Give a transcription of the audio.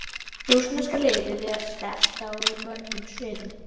Rússneska liðið er sterkt á mörgum sviðum.